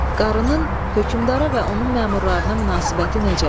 Qarının hökmdara və onun məmurlarına münasibəti necədir?